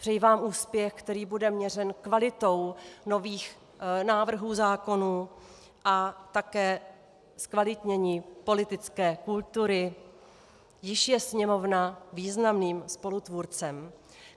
Přeji vám úspěch, který bude měřen kvalitou nových návrhů zákonů, a také zkvalitnění politické kultury, jíž je Sněmovna významným spolutvůrcem.